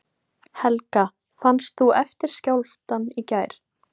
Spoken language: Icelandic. Helga: Fannst þú eftirskjálftann í gær?